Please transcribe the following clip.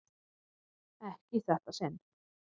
Ekki í þetta sinn.